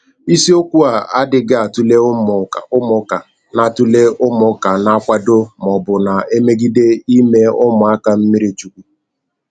Isiokwu a adịghị atụle ụmụka na atụle ụmụka na - akwado ma ọ bụ na - emegide ime ụmụaka mmiri chukwu.